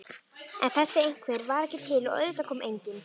En þessi einhver var ekki til og auðvitað kom enginn.